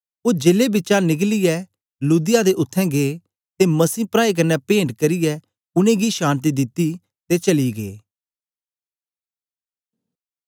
ओ जेले बिचा निकलियै लुदिया दे उत्थें गै ते मसीह प्राऐं कन्ने पेंट करियै उनेंगी शान्ति दिती ते चली गै